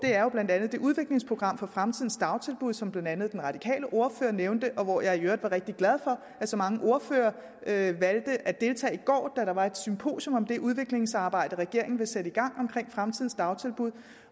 er det udviklingsprogram for fremtidens dagtilbud som blandt andet den radikale ordfører nævnte og hvor jeg i øvrigt var rigtig glad for at så mange ordførere valgte at deltage i går da der var et symposium om det udviklingsarbejde regeringen vil sætte i gang omkring fremtidens dagtilbud